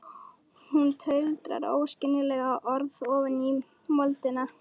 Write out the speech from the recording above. Hún tuldrar óskiljanleg orð ofan í moldina.